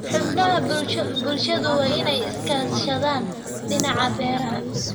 Xubnaha bulshadu waa in ay iska kaashadaan dhinaca beeraha.